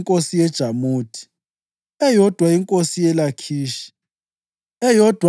inkosi yeJamuthi, eyodwa inkosi yeLakhishi, eyodwa